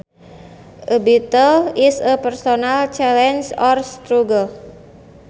A battle is a personal challenge or struggle